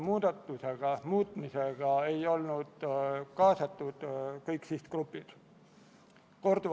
Muudatusettepanekuid eelnõu kohta esitatud ei ole.